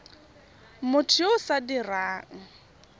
motho yo o sa dirang